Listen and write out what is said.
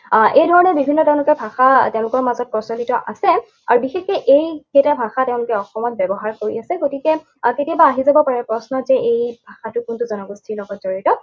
আহ এই ধৰণৰ বিভিন্ন তেওঁলোকৰ ভাষা তেওঁলোকৰ মাজত প্ৰচলিত আছে। আৰু বিশেষকৈ এইকেইটা ভাষা তেওঁলোকে অসমত ব্যৱহাৰ কৰি আছে। গতিকে আহ কেতিয়াবা আহি যাব পাৰে প্ৰশ্ন যে এই ভাষাটো কোনটো জনগোষ্ঠীৰ লগত জড়িত।